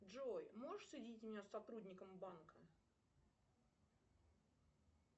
джой можешь соединить меня с сотрудником банка